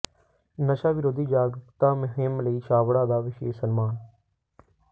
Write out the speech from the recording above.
ਨਸ਼ਾ ਵਿਰੋਧੀ ਜਾਗਰੂਕਤਾ ਮੁਹਿੰਮ ਲਈ ਛਾਬੜਾ ਦਾ ਵਿਸ਼ੇਸ਼ ਸਨਮਾਨ